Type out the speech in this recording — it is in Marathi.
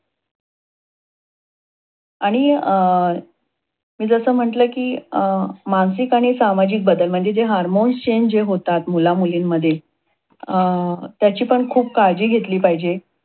आणि अं मी जस म्हटल कि अं मानसिक आणि सामाजिक बदल म्हणजे जे Hormones Change जे होतात, मुलामुलींमध्ये. अं त्याची पण खूप काळजी घेतली पाहिजे.